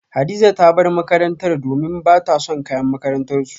Hadiza ta bar makarantarta domin bata son kayan makarantarsu